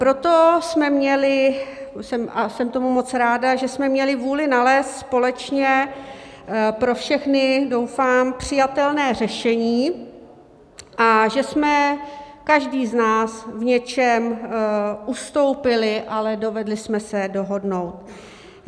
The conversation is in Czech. Proto jsme měli - a jsem tomu moc ráda, že jsme měli - vůli nalézt společně pro všechny doufám přijatelné řešení a že jsme každý z nás v něčem ustoupili, ale dovedli jsme se dohodnout.